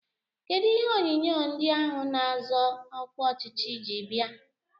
Kedụ ihe onyinye ndị ahụ na-azọ ọkwa ọchịchị ji bịa?